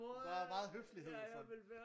Der er meget høflighed så